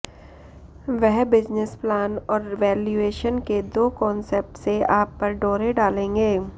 वह business plan और valuation के दो कॉन्सेप्ट्स से आप पर डोरे डालेंगे